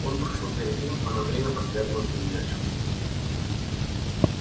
он трусил перед ним а на время поглядывал с недоверчивостию